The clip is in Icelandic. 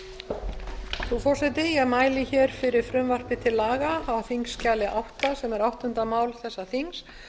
frú forseti ég mæli fyrir frumvarpi til laga á þingskjali átta sem er áttunda mál þessa þings